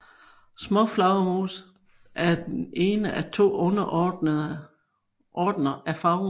Småflagermus er den ene af to underordner af flagermus